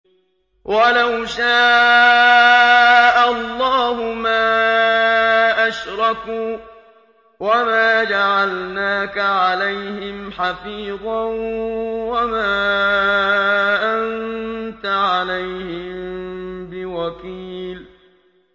وَلَوْ شَاءَ اللَّهُ مَا أَشْرَكُوا ۗ وَمَا جَعَلْنَاكَ عَلَيْهِمْ حَفِيظًا ۖ وَمَا أَنتَ عَلَيْهِم بِوَكِيلٍ